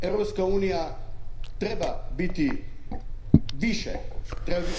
Europska unija treba biti više,